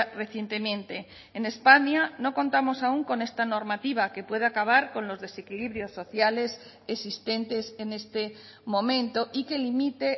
recientemente en españa no contamos aún con esta normativa que puede acabar con los desequilibrios sociales existentes en este momento y que limite